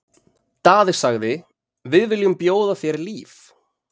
Daði sagði:-Við viljum bjóða þér líf!